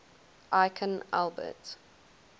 aikin albert